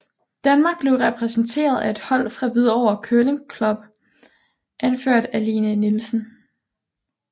Danmark blev repræsenteret af et hold fra Hvidovre Curling Club anført af Lene Nielsen